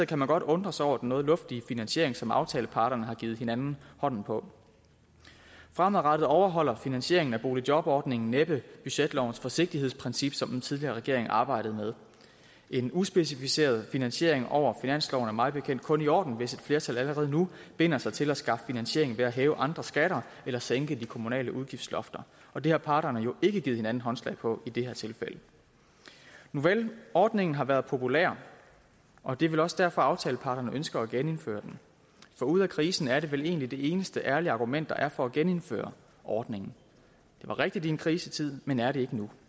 kan man godt undre sig over den noget luftige finansiering som aftaleparterne har givet hinanden hånden på fremadrettet overholder finansieringen af boligjobordningen næppe budgetlovens forsigtighedsprincip som den tidligere regering arbejdede med en uspecificeret finansiering over finansloven er mig bekendt kun i orden hvis et flertal allerede nu binder sig til at skaffe finansiering ved at hæve andre skatter eller sænke de kommunale udgiftslofter og det har parterne jo ikke givet hinanden håndslag på i det her tilfælde nuvel ordningen har været populær og det er vel også derfor at aftaleparterne ønsker at genindføre den for ude af krisen er det vel egentlig det eneste ærlige argument der er for at genindføre ordningen det var rigtigt i en krisetid men er det ikke nu